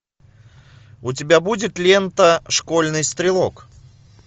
у тебя будет лента школьный стрелок